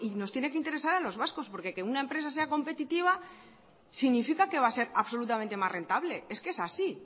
nos tiene que interesar a los vascos porque que una empresa sea competitiva significa que va a ser absolutamente más rentable es que es así